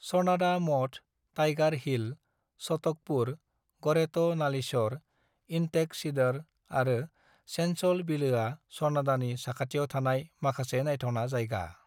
"स'नाडा मठ, Tiger Hill, Chatakpur, ग'रेट' Nalichaur, Intake Cedar आरो सेंचल बिलोआ स'नाडानि साखाथियाव थानाय माखासे नायथावना जायगा।"